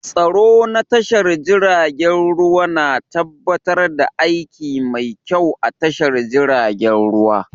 Tsaro na tashar jiragen ruwa na tabbatar da aiki mai kyau a tashar jiragen ruwa